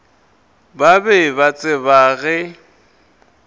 ba be ba tseba ge